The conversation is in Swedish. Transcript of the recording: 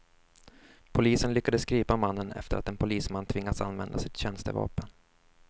Polisen lyckades gripa mannen efter att en polisman tvingats använda sitt tjänstevapen.